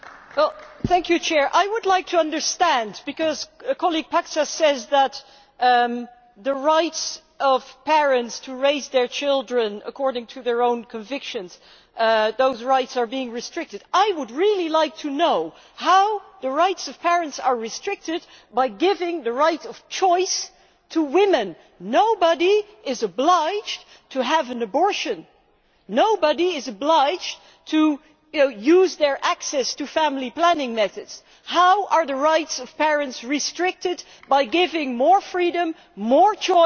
I would like to understand what my colleague Mr Paksas means when he says that the rights of parents to raise their children according to their own convictions are being restricted. I would like to know how the rights of parents are restricted by giving the right of choice to women. Nobody is obliged to have an abortion nobody is obliged to use their access to family planning methods. How are the rights of parents restricted by giving more freedom and more choice to women?